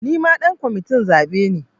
Nima ɗan kwamitin zaɓe ne